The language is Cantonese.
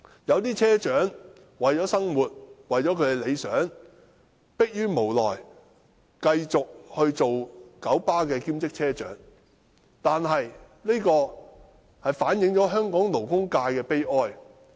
一些車長為了生活或理想，逼於無奈，繼續任職九巴兼職車長，這反映出香港勞工界的悲哀。